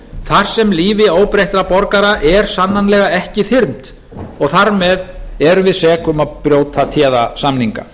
þar sem lífi óbreyttra borgara er sannanlega ekki þyrmt og þar með erum við sek um að brjóta téða samninga